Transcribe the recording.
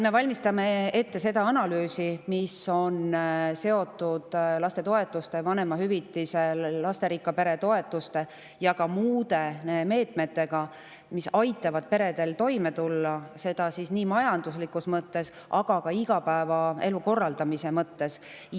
Me valmistame ette analüüsi, mis on seotud lastetoetuste, vanemahüvitise, lasterikka pere toetuste ja ka muude meetmetega, mis aitavad peredel toime tulla, seda nii majanduslikus mõttes kui ka igapäevaelu korraldamise mõttes.